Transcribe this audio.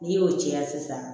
N'i y'o cɛn sisan